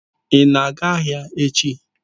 Ị na-aga ahịa echi?